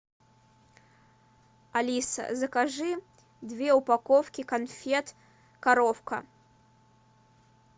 алиса закажи две упаковки конфет коровка